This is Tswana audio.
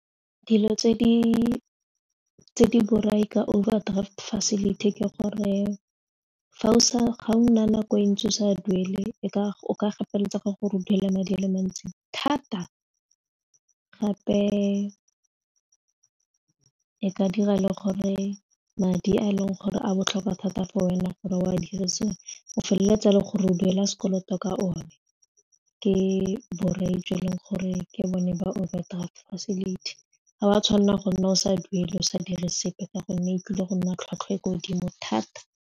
Dilo tse di borai ka overdraft facility ke gore ga o nna nako e ntsi o sa duele e ka o ka gapeletsege gore duela madi a le mantsi thata gape e ka dira le gore madi a e leng gore a botlhokwa thata for wena gore o a dirisiwe o feleletsa le gore o duela sekoloto ka one ke borai tse e leng gore ke bone ba overdraft facility, ga wa tshwanela go nna o sa duele o sa dire sepe ka gonne e tlile go nna tlhwatlhwa e ko godimo thata.